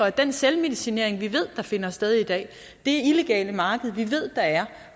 af den selvmedicinering vi ved der finder sted i dag og det illegale marked vi ved der er